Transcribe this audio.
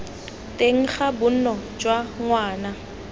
teng ga bonno jwa ngwana